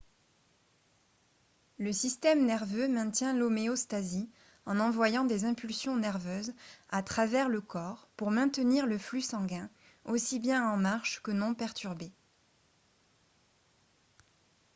le système nerveux maintient l'homéostasie en envoyant des impulsions nerveuses à travers le corps pour maintenir le flux sanguin aussi bien en marche que non perturbé